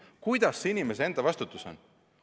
Kuidas see inimese enda vastutus on?